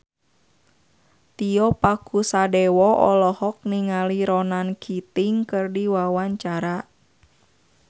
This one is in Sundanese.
Tio Pakusadewo olohok ningali Ronan Keating keur diwawancara